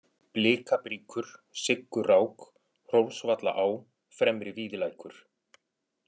Blikabríkur, Siggurák, Hrólfsvallaá, Fremri-Víðilækur